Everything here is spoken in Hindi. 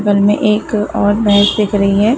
बगल में एक और भैंस दिख रही है।